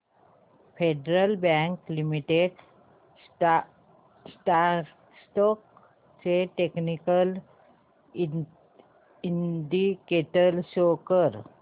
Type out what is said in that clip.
federal bank limited stocks चे technical indicators show कर